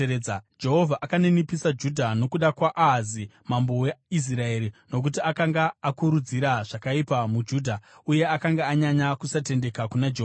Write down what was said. Jehovha akaninipisa Judha nokuda kwaAhazi mambo weIsraeri, nokuti akanga akurudzira zvakaipa muJudha uye akanga anyanya kusatendeka kuna Jehovha.